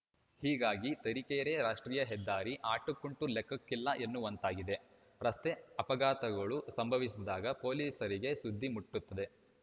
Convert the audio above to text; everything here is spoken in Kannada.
ಹೀಗಾಗಿ ತರೀಕೆರೆ ರಾಷ್ಟ್ರೀಯ ಹೆದ್ದಾರಿ ಅಟಕ್ಕುಂಟು ಲೆಕ್ಕಕ್ಕಿಲ್ಲ ಎನ್ನುವಂತಾಗಿದೆ ರಸ್ತೆ ಅಪಘಾತಗಳು ಸಂಭವಿಸಿದಾಗ ಪೊಲೀಸರಿಗೆ ಸುದ್ದಿ ಮುಟ್ಟುತ್ತದೆ